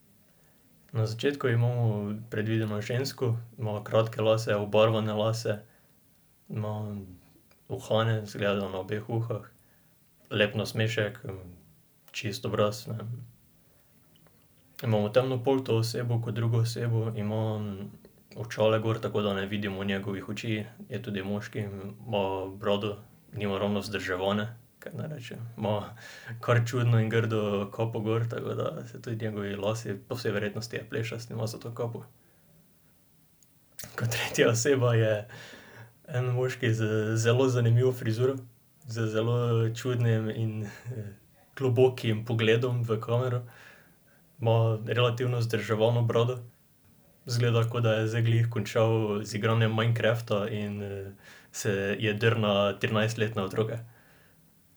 Na začetku imamo predvideno žensko, ima kratke lase, obarvane lase. Ima uhane, izgleda, da na obeh ušesih. Lep nasmešek, čist obraz, ne. Imamo temnopolto osebo kot drugo osebo. Ima očala gor, tako da ne vidimo njegovih oči. Je tudi moški, ima brado. Nima ravno vzdrževane, kaj naj rečem. Ima kar čudno in grdo kapo gor, tako da se tudi njegovi lasje ... Po vsej verjetnosti je plešast, ima zato kapo. Kot tretja oseba je en moški z zelo zanimivo frizuro, z zelo čudnim in, globokim pogledom v kamero. Ima relativno vzdrževano brado. Izgleda, ko da je zdaj glih končal z igranjem Minecrafta in, se je drl na trinajstletne otroke.